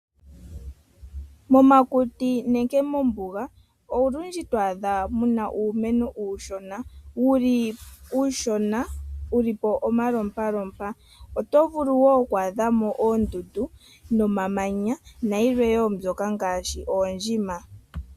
Momakuti nenge mombuga olundji twaadha muna uumeno uushona wuli po omalompalompa. Oto vulu woo okwaadha mo oondundu nomamanya nayilwe woo ngaashi oondjima.